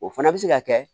O fana bɛ se ka kɛ